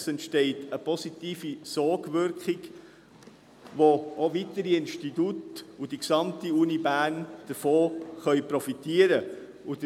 Es entsteht eine positive Sogwirkung, wovon auch weitere Institute sowie die gesamte Universität Bern profitieren können.